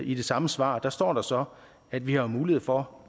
i det samme svar står der så at vi har mulighed for